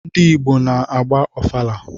Ndị Igbo na-agba ọfala